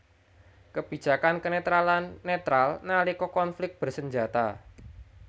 Kebijakan kenetralan netral nalika konflik bersenjata